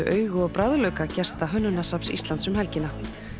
augu og bragðlauka gesta Hönnunarsafns Íslands um helgina